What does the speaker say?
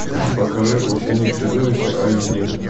покажи ученик чудовища айч ди